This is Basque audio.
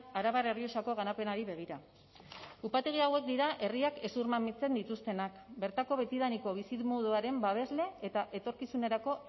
arabar errioxako garapenari begira upategi hauek dira herriak hezurmamitzen dituztenak bertako betidaniko bizimoduaren babesle eta etorkizunerako